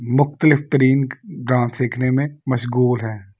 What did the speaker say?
मुख्तलिफ तरीन डांस सीखने में मशगूल हैं।